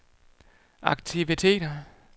aktiviteter